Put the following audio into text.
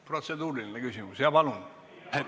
Protseduuriline küsimus, palun!